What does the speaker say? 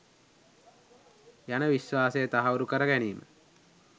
යන විශ්වාසය තහවුරු කරගැනීම